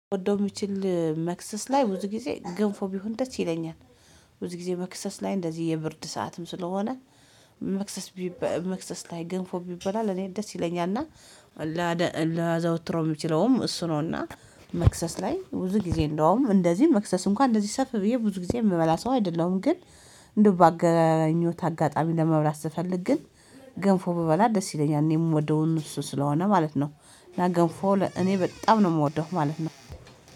ጎዶም ይችል መክሰስ ላይ ብዙ ጊዜ ገንፎ ቢሆን ደስ ይለኛል ብዙ ጊዜ መክሰስ ላይ እንደዚህ የብርድ ሰዓትም ስለሆነ መክሰስ መክሰስ ላይ ገንፎ ቢበላ ለእኔ ደስ ይለኛልና። ላዘወትረው የምችለውም እሱ ነውና መክሰስ ላይ ብዙ ጊዜ እንደውም እንደዚህ መክሰስ እንኳን እንደዚህ ሰፍ ብዬ ብዙ ጊዜ የምበላ ሰው አይደለሁም ግን እንደው በአገኘሁት አጋጣሚ ለመብላት ስፈልግ ግን ገንፎ ብበላ ደስ ይለኛል እኔ የምወደውን እሱ ስለሆነ ማለት ነው። እና ገንፎ እኔ በጣም ነው የምወደው ማለት ነው